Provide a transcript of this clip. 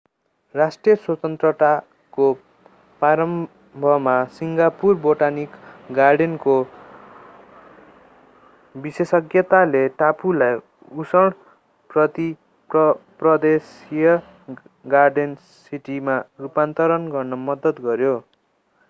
राष्ट्र स्वतन्त्रताको प्रारम्भमा सिङ्गापुर बोटानिक गार्डेनको विशेषज्ञताले टापुलाई उष्ण प्रदेशीय गार्डेन सिटीमा रूपान्तरण गर्न मद्दत गर्‍यो।